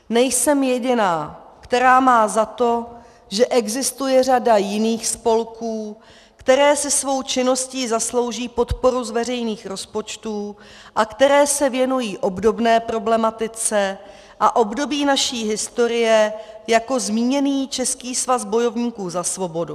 Nejsem jediná, která má za to, že existuje řada jiných spolků, které si svou činností zaslouží podporu z veřejných rozpočtů a které se věnují obdobné problematice a období naší historie jako zmíněný Český svazu bojovníků za svobodu.